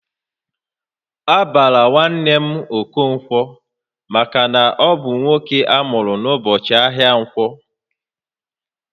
A bara nwanne m Okonkwo maka na ọ bụ nwoke amuru n'ụbọchị ahịa Ǹkwọ